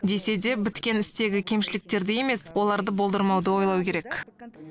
десе де біткен істегі кемшіліктерді емес оларды болдырмауды ойлау керек